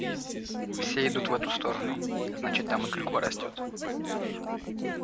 все идут в эту сторону значит там и клюква растёт